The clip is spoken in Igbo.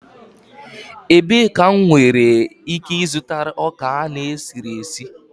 Ebee ka m nwere ike ịzụta ọka a na-esiri esi?